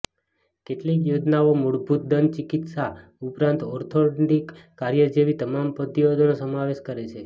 કેટલીક યોજનાઓ મૂળભૂત દંત ચિકિત્સા ઉપરાંત ઓર્થોડોન્ટિક કાર્ય જેવી તમામ પદ્ધતિઓનો સમાવેશ કરે છે